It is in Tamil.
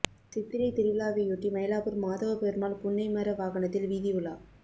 சித்திரை திருவிழாவையொட்டி மயிலாப்பூர் மாதவப் பெருமாள் புன்னை மர வாகனத்தில் வீதி உலா